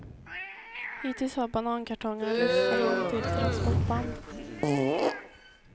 Hittills har banankartongerna lyfts för hand till transportband.